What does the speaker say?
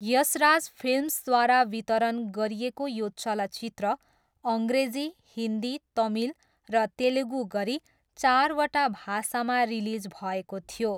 यशराज फिल्म्सद्वारा वितरण गरिएको यो चलचित्र अङ्ग्रेजी, हिन्दी, तमिल र तेलुगु गरी चारवटा भाषामा रिलिज भएको थियो।